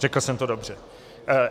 Řekl jsem to dobře.